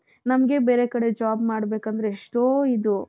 ನಮ್ಗೆ ಬೇರೆ ಕಡೆ job ಮಾಡ್ಬೇಕು ಅಂದ್ರೆ ಎಷ್ಟೋ ಇದು.